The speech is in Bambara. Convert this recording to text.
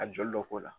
A joli dɔ k'o la